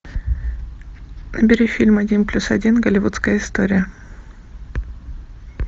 набери фильм один плюс один голливудская история